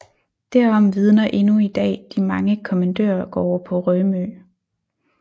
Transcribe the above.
Derom vidner endnu i dag de mange kommandørgårde på Rømø